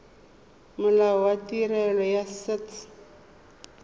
molao wa tirelo ya set